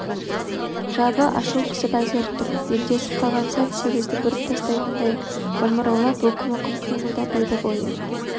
жабы ашу қысып әзер тұр белдесіп қалған сәт сегізді бүріп тастайтындай омыраулап өкім-өкім қимылдап еді бойы